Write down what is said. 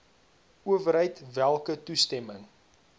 owerheid welke toestemming